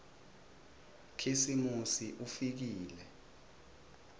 khisimusi ufikile